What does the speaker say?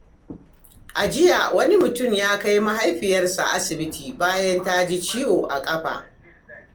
A jiya, wani mutum ya kai mahaifiyarsa asibiti bayan ta ji ciwo a ƙafa.